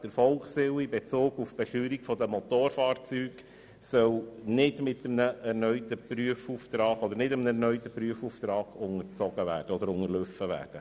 Der Volkswille in Bezug auf die Besteuerung der Motorfahrzeuge soll nicht durch einen erneuten Prüfauftrag unterlaufen werden.